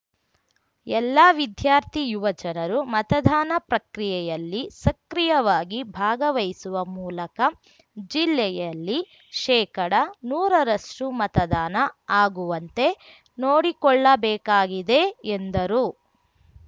ಎಲ್ಲಾ ವಿದ್ಯಾರ್ಥಿ ಯುವ ಜನರು ಮತದಾನ ಪ್ರಕ್ರಿಯೆಯಲ್ಲಿ ಸಕ್ರಿಯವಾಗಿ ಭಾಗವಹಿಸುವ ಮೂಲಕ ಜಿಲ್ಲೆಯಲ್ಲಿ ಶೇಕಡ ನೂರ ರಷ್ಟುಮತದಾನ ಆಗುವಂತೆ ನೋಡಿಕೊಳ್ಳಬೇಕಾಗಿದೆ ಎಂದರು